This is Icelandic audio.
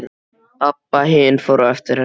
Abba hin fór á eftir henni.